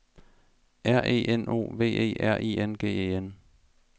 R E N O V E R I N G E N